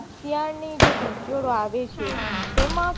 અત્યાર ની જે પીચર આવે છે તેમાં